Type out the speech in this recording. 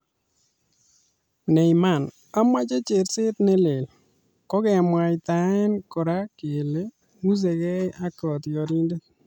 Neymar:Amache cherseet ne leel .Kokemwaitae kora kele ng'usegei ak kotiorindet